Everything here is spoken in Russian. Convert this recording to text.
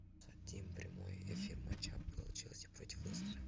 хотим прямой эфир матча апл челси против лестера